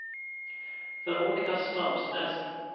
Veronika Strømsnes